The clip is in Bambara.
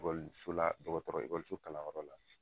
ekɔliso la dɔgɔtɔrɔ ekɔliso kalanyɔrɔ la